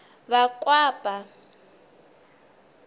vakwapa